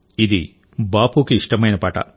ఇది బాపుకి ఇష్టమైన పాట